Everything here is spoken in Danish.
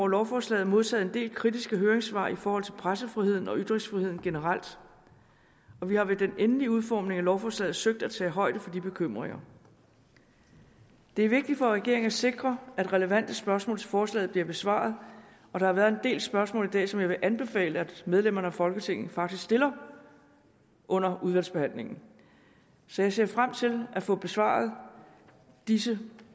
lovforslaget modtaget en del kritiske høringssvar i forhold til pressefriheden og ytringsfriheden generelt og vi har ved den endelige udformning af lovforslaget søgt at tage højde for de bekymringer det er vigtigt for regeringen at sikre at relevante spørgsmål til forslaget bliver besvaret og der har været en del spørgsmål i dag som jeg vil anbefale at medlemmerne af folketinget faktisk stiller under udvalgsbehandlingen så jeg ser frem til at få besvaret disse